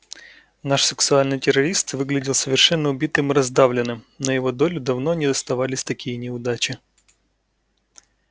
наш сексуальный террорист выглядел совершенно убитым и раздавленным на его долю давно не оставались такие неудачи